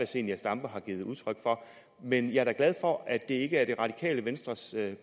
zenia stampe har givet udtryk for men jeg er da glad for at det ikke er det radikale venstres